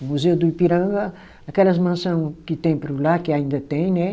O Museu do Ipiranga, aquelas mansão que tem por lá, que ainda tem, né?